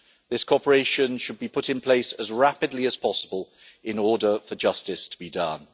This cooperation should be put in place as rapidly as possible in order for justice to be done.